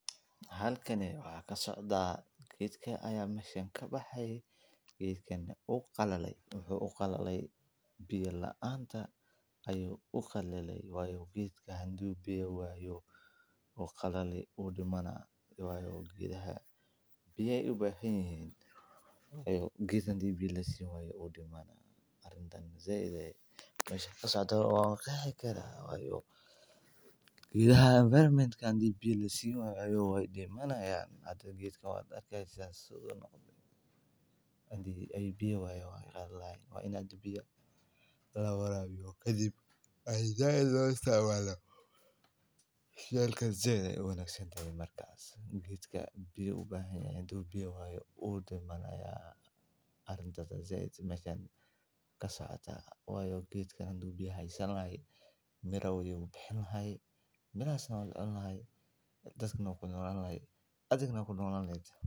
Halkani waxaa kasocda geedka aya mesha kabaxay geedkana wu qalalay wuxuu u qalale biya laanta ayu uqalale wayo geedka hadu biya wayo wu qalali wu dimana wayo geedaha biya ayey u bahan yihin geed hadi biya lasin wayo wu dimanaya arintan mesha kasocoto wayo geedha environment ka hadii biya lasini wayo wey qalalayan hada geedkan waa arki haysa hadii ee biya wayan wey qalalayan Mar kasta ee said lo isticmalo geedka biya ayu ubahan yahay hadu biya wayo wu dimanaya arintas aya saidmeshan kasocota arintas aya meahan kasocata wayo haduu biya hasan laha mira ayu dali laha mirahasna waa lacuni laha dadkana wey cuni lahayen adhigana waa kunolani lehed.